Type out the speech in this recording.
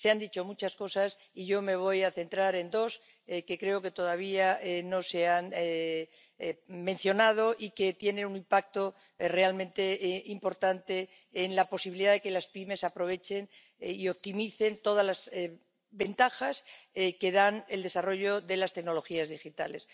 Se han dicho muchas cosas, y yo me voy a centrar en dos que creo que todavía no se han mencionado y que tienen un impacto realmente importante en la posibilidad de que las pymes aprovechen y optimicen todas las ventajas que da el desarrollo de las tecnologías digitales.